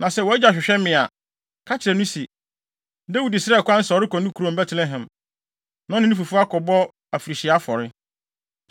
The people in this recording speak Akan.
Na sɛ wʼagya hwehwɛ me a, ka kyerɛ no se, ‘Dawid srɛɛ kwan se ɔrekɔ ne kurom Betlehem, na ɔne ne fifo akɔbɔ afirihyia afɔre.’